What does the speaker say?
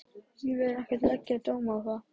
Ég vil ekki leggja dóm á það.